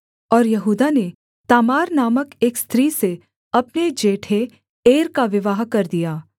और यहूदा ने तामार नामक एक स्त्री से अपने जेठे एर का विवाह कर दिया